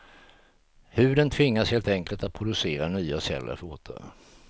Huden tvingas helt enkelt att producera nya celler fortare.